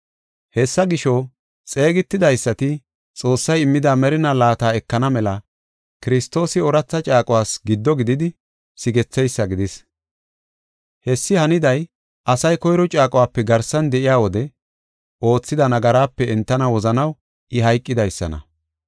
Hessa gisho, xeegetidaysati Xoossay immida merinaa laata ekana mela Kiristoosi ooratha caaquwas giddo gididi sigetheysa gidis. Hessi haniday asay koyro caaquwape garsan de7iya wode oothida nagaraape entana wozanaw I hayqidaysana.